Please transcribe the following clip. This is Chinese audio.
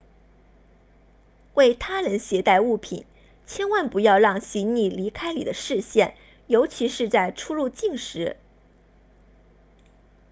为他人携带物品千万不要让行李离开你的视线尤其是在出入境时